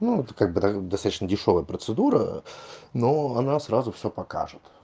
ну это как бы да достаточно дешёвая процедура но она сразу всё покажет